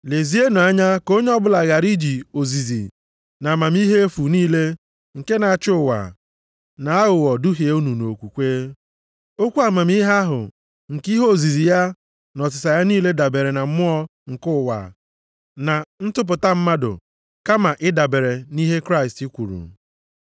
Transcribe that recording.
Lezienụ anya ka onye ọbụla ghara iji ozizi na amamihe efu niile nke na-achị ụwa, na aghụghọ duhie unu nʼokwukwe. Okwu amamihe ahụ nke ihe ozizi ya na ọsịsa ya niile dabeere na mmụọ nke ụwa na ntụpụta mmadụ kama ịdabere nʼihe Kraịst kwuru.